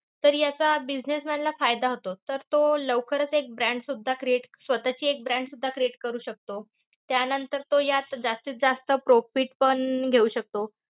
तर याचा businessman ला फायदा होतो. तर तो लवकरच एक brand सुद्धा create स्वतःची एक brand सुद्धा create करू शकतो. त्यानंतर तो यात जास्तीत जास्त profit पण घेऊ शकतो.